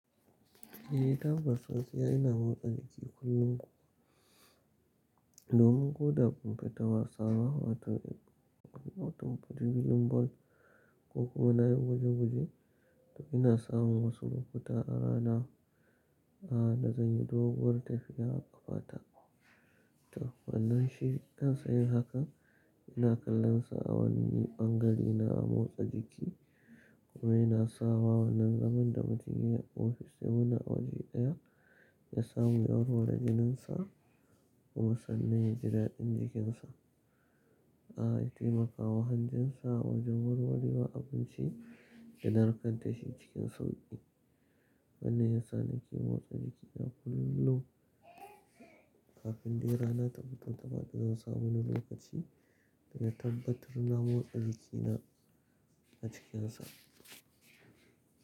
Eh, tabbas gaskiya ina motsa jiki. Domin ko da ban fita wasa, hawa ta wani wutar birin bol ko kuma na yin gwaje gwaje, to ina samun wasu lokuta a rana a da zan yi doguwar tafiya a ƙafa ta. To wannan shi yana sanya hakan, yana kallon sa awani ɓangare na a motsa jiki kuma yana sawa wannan zaman da mutum ya ofis in muna waje ɗaya ya samu warware da jininsa kuma sannan ya ji daɗin jikinsa. A yi taimakawa hanjinsa wajen warwarewa abinci da narkaddashi cikin sauƙi. Wannan yana sa ni ke motsa jikina kullum kafin dai rana ta fito taɓa dukka sabanin lokaci da na tabbatar na motsa jikina a cikinsa.